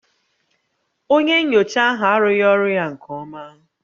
Onye nyocha ahụ arụghị ọrụ ya nke ọma